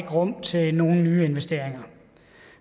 rum til nye investeringer